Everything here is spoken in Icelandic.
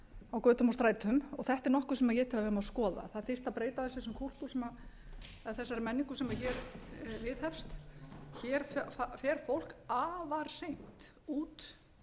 á götum og strætum og þetta er nokkuð sem ég tel að við eigum að skoða það þyrfti að breyta þessum kúltúr eða þessari menningu sem hér viðhefst hér fer fólk afar seint út